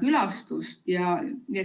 külastust.